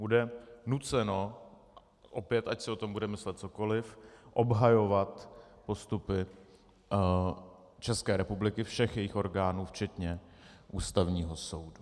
Bude nuceno opět, ať si o tom budeme myslet cokoliv, obhajovat postupy České republiky, všech jejích orgánů včetně Ústavního soudu.